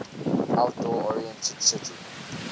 outdoor oriented city